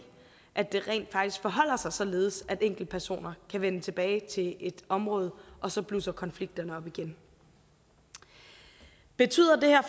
at det rent faktisk forholder sig således at enkeltpersoner kan vende tilbage til et område og så blusser konflikterne op igen betyder det her